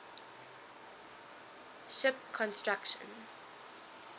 ship construction